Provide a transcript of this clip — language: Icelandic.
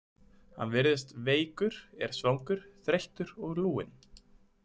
Hann virðist veikur, er svangur, þreyttur og lúinn.